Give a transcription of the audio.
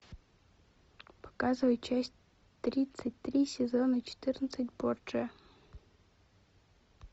показывай часть тридцать три сезона четырнадцать борджиа